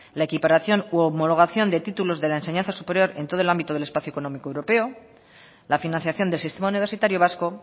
la equiparación u homologación de títulos de la enseñanza superior en todo el ámbito del espacio económico europeo la financiación del sistema universitario vasco